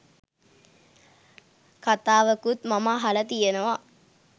කතාවකුත් මම අහල තියෙනවා